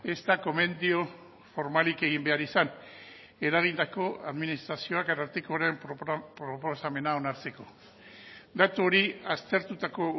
ez da gomendio formalik egin behar izan eragindako administrazioak arartekoren proposamena onartzeko datu hori aztertutako